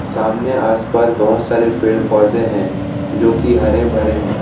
सामने आस पास बहोत सारे पेड़ पौधे हैं जो की हरे भरे हैं।